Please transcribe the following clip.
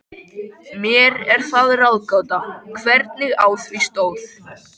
Mér er það ráðgáta, hvernig á því stóð.